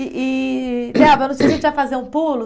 E e, Delba, eu não sei se a gente vai fazer um pulo?